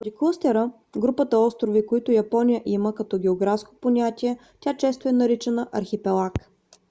поради клъстера/групата острови които япония има като географско понятие тя често е наричана архипелаг